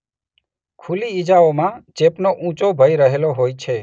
ખુલ્લી ઇજાઓમાં ચેપનો ઊંચો ભય રહેલો હોય છે.